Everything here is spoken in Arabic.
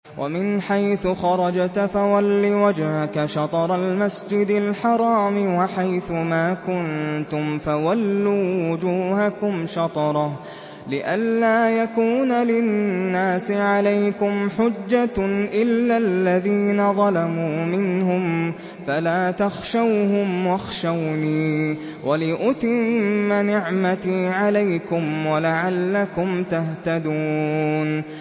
وَمِنْ حَيْثُ خَرَجْتَ فَوَلِّ وَجْهَكَ شَطْرَ الْمَسْجِدِ الْحَرَامِ ۚ وَحَيْثُ مَا كُنتُمْ فَوَلُّوا وُجُوهَكُمْ شَطْرَهُ لِئَلَّا يَكُونَ لِلنَّاسِ عَلَيْكُمْ حُجَّةٌ إِلَّا الَّذِينَ ظَلَمُوا مِنْهُمْ فَلَا تَخْشَوْهُمْ وَاخْشَوْنِي وَلِأُتِمَّ نِعْمَتِي عَلَيْكُمْ وَلَعَلَّكُمْ تَهْتَدُونَ